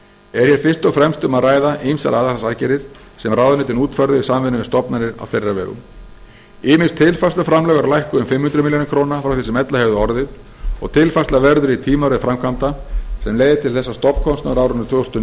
er hér fyrst og fremst um að ræða ýmsar aðhaldsaðgerðir sem ráðuneytin útfærðu í samvinnu við stofnanir á þeirra vegum ýmis tilfærsluframlög eru lækkuð um fimm hundruð milljóna króna frá því sem ella hefði orðið og tilfærsla verður í tímaröð framkvæmda sem leiðir til þess að stofnkostnaður á árinu tvö þúsund og